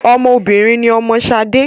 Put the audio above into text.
Ọmọ obìnrin ni ọmọ Ṣadé